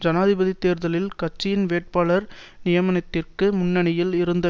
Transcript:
ஜனாதிபதி தேர்தலில் கட்சியின் வேட்பாளர் நியமனத்திற்காக முன்னணியில் இருந்த